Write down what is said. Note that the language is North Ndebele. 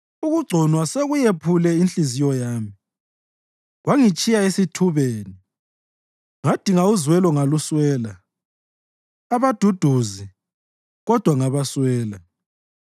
Ukugconwa sekuyephule inhliziyo yami kwangitshiya esithubeni; ngadinga uzwelo ngaluswela, abaduduzi, kodwa ngabaswela.